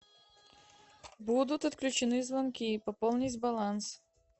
будут отключены звонки пополнить баланс